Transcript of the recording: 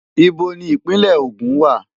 Íbo ni Ìpínlẹ̀ Ogun wà?